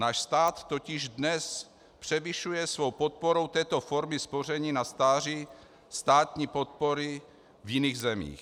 Náš stát totiž dnes převyšuje svou podporou této formy spoření na stáří státní podpory v jiných zemích.